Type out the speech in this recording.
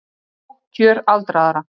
Innanríkisráðherrann er hættur